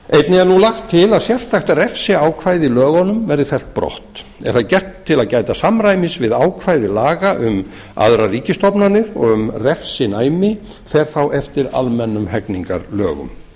einnig er nú lagt til að sérstakt refsiákvæði í lögunum verði fellt brott er það gert til að gæta samræmis við ákvæði laga um aðrar ríkisstofnanir og um refsinæmi fer þá eftir almennum hegningarlögum